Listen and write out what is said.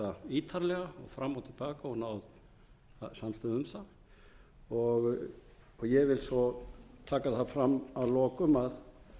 ítarlega fram og til baka og náð samstöðu um það ég vil svo taka það fram að lokum að